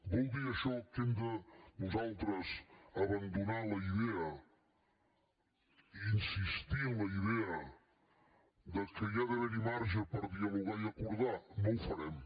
vol dir això que hem de nosaltres abandonar la idea i insistir en la idea que hi ha d’haver marge per dialogar i acordar no ho farem